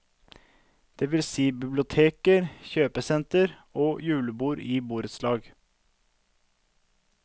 Det vil si biblioteker, kjøpesentre og julebord i borettslag.